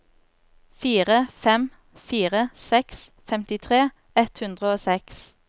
fire fem fire seks femtitre ett hundre og seks